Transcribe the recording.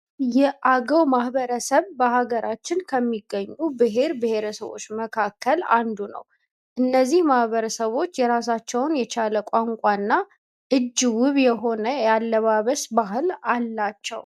የአገው ማህበረሰብ በሀገራችን ከሚገኙ ብሄር ብሄረሰቦች መካከል አንዱ ነው። እነዚህ ማህበረሰቦች የራሳቸውን የቻለ ቋንቋ እና እጅ ውብ የሆነ የአለባበስ ባህል አላቸው።